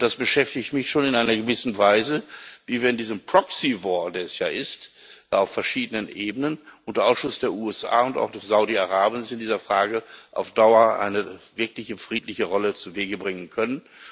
Es beschäftigt mich schon in einer gewissen Weise, wie wir in diesem proxy war der es ja ist, auf verschiedenen Ebenen unter Ausschluss der USA und auch Saudi Arabiens in dieser Frage, auf Dauer eine wirkliche friedliche Lösung zuwege bringen können.